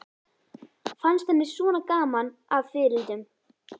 Fannst henni svona gaman að fiðrildum?